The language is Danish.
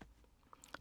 DR1